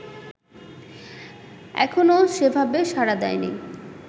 এখনও সেভাবে সাড়া দেয়নি